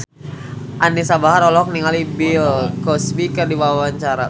Anisa Bahar olohok ningali Bill Cosby keur diwawancara